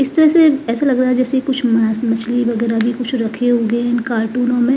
इस तरह से ऐसा लग रहा है जैसे कुछ मांस मछली वगैरह भी कुछ रखे होंगे इन कार्टूनों में।